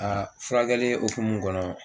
A furakɛli hukumu kɔnɔ